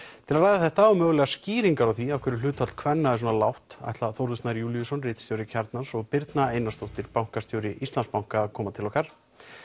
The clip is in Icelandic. til að ræða þetta og mögulegar skýringar á því af hverju hlutfall kvenna er svona lágt ætla Þórður Snær Júlíusson ritstjóri Kjarnans og Birna Einarsdóttir bankastjóri Íslandsbanka að koma til okkar